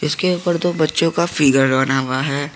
इसके ऊपर दो बच्चों का फिगर बना हुआ है।